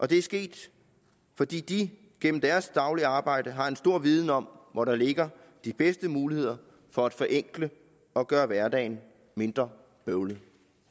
det er sket fordi de gennem deres daglige arbejde har en stor viden om hvor der ligger de bedste muligheder for at forenkle og gøre hverdagen mindre bøvlet